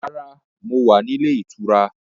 Rárá, mo wá ní ilé ìtura.